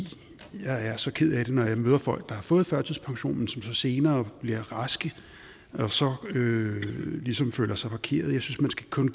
jeg er så ked af det når jeg møder folk der har fået førtidspension men som senere bliver raske og så ligesom føler sig parkeret jeg synes kun